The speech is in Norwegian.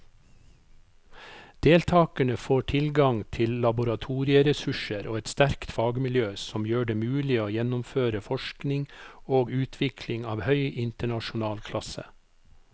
Deltakerne får tilgang til laboratorieressurser og et sterkt fagmiljø som gjør det mulig å gjennomføre forskning og utvikling av høy internasjonal klasse.